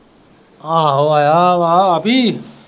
ਆਹੋ ਆਇਆ ਆ ਵੀ।